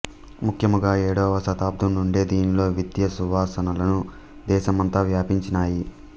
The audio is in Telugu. ముఖ్యముగా ఏడవ శతాబ్దం నుండే దీనిలో విద్యా సువాసనలు దేశమంతా వ్యాపించినాయి